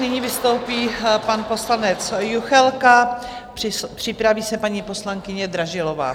Nyní vystoupí pan poslanec Juchelka, připraví se paní poslankyně Dražilová.